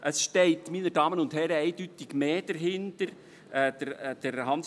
Es steht, meine Damen und Herren, eindeutig mehr dahinter, als im Wortlaut steht;